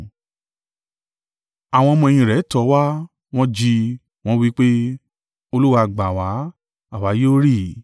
Àwọn ọmọ-ẹ̀yìn rẹ̀ tọ̀ ọ́ wá, wọn jí i, wọ́n wí pe, “Olúwa, gbà wá! Àwa yóò rì!”